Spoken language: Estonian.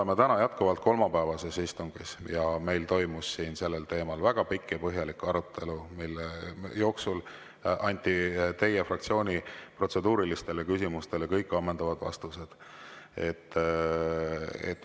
Me oleme jätkuvalt kolmapäevasel istungil ja meil toimus siin sellel teemal väga pikk ja põhjalik arutelu, mille jooksul anti teie fraktsiooni kõigile protseduurilistele küsimustele ammendavad vastused.